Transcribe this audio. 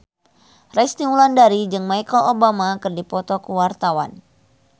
Resty Wulandari jeung Michelle Obama keur dipoto ku wartawan